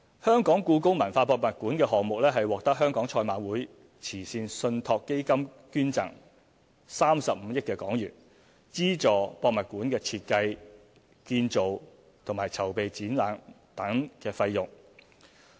第六，故宮館項目獲得香港賽馬會慈善信託基金捐贈35億港元，資助設計、建造和籌備展覽等費用。